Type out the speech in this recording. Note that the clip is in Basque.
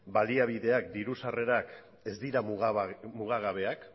baliabideak diru sarrerak ez dirua mugagabeak